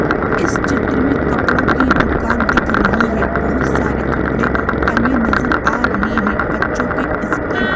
इस चित्र में कपड़ों की दुकान दिख रही है बहुत सारे कपड़े टंगे नजर आ रहे हैं बच्चों के एस्कर्ट --